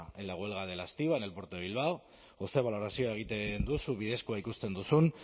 en la huelga de la estiba en el puerto de bilbao edo zer balorazio egiten duzu bidezkoa ikusten duzun